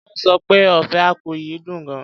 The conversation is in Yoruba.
Wón sọ pé ofe akwu yìí dùn gan.